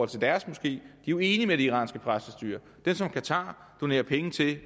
til deres moské er jo enige med det iranske præstestyre de som qatar donerer penge til